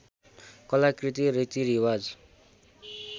कलाकृति रीतिरिवाज